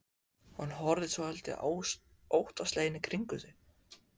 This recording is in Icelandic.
Hún horfði svolítið óttaslegin í kringum sig.